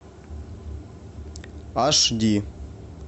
аш ди